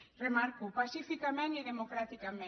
ho remarco pacíficament i democràticament